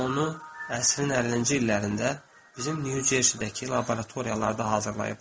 Onu əsrin 50-ci illərində bizim New Jersey-dəki laboratoriyalarda hazırlayıblar.